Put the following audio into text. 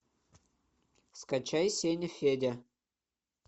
скачай сеняфедя